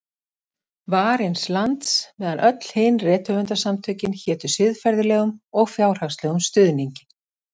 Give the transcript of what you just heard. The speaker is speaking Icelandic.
Varins lands, meðan öll hin rithöfundasamtökin hétu siðferðislegum og fjárhagslegum stuðningi.